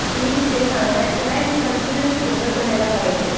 कि ते सांगायचे ना कि हे कॉन्टिनुअसली बोलत राहायला पाहिजे